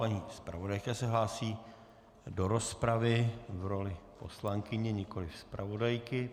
Paní zpravodajka se hlásí do rozpravy v roli poslankyně, nikoliv zpravodajky.